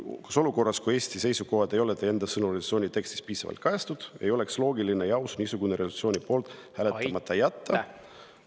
Kas olukorras, kui Eesti seisukohti ei ole resolutsiooni tekstis teie enda sõnul piisavalt kajastatud, ei oleks loogiline ja aus niisuguse resolutsiooni poolt hääletamata jätta?